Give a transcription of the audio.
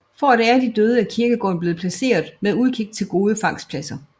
For at ære de døde er kirkegården blevet placeret med udkig til gode fangstpladser